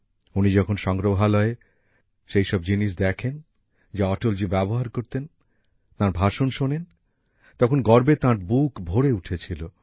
উনি যখন সংগ্রহালয়ে সেই সব জিনিস দেখেন যা অটলজী ব্যবহার করতেন তাঁর ভাষণ শোনেন তখন গর্বে তাঁর বুক ভরে উঠেছিল